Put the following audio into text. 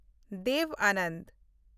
Dev Anand